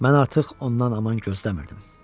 Mən artıq ondan aman gözləmirdim.